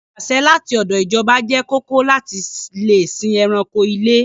Ìwé-àṣẹ láti ọdọ̀ ìjọba jẹ́ kóòkó láti lè sìn ẹranko ilé.